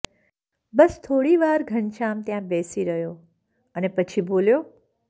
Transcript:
બસ થોડી વાર ઘનશ્યામ ત્યાં બેસી રહ્યો અને પછી બોલ્યો